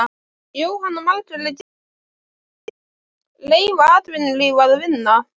Jóhanna Margrét Gísladóttir: Leyfa atvinnulífinu að vinna?